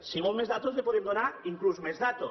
si vol més dades li podem donar inclús més dades